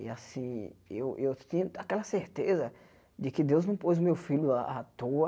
E assim, eu eu tinha aquela certeza de que Deus não pôs o meu filho à à toa.